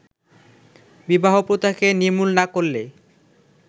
বিবাহপ্রথাকে নির্মূল না করলে